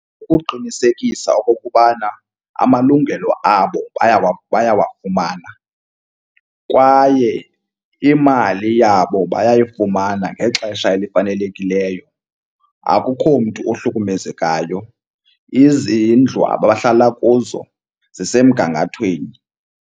Ukuqinisekisa okokubana amalungelo abo bayawafumana kwaye imali yabo bayayifumana ngexesha elifanelekileyo. Akukho mntu ohlukumezekayo, izindlu abahlala kuzo zisemgangathweni.